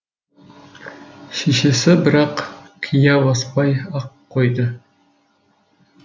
шешесі бірақ қия баспай ақ қойды